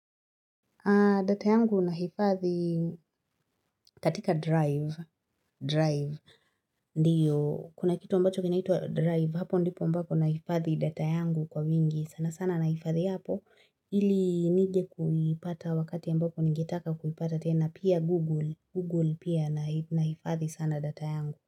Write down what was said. Data yangu nahifadhi katika drive. Drive. Ndio. Kuna kitu ambacho kinaitwa drive. Hapo ndipo ambapo nahifadhi data yangu kwa wingi. Sana sana nahifadhi hapo. Ili nije kuipata wakati ambapo ningetaka kuipata tena. Pia Google. Google pia nahifadhi sana data yangu.